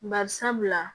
Bari sabula